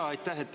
Jaa, aitäh!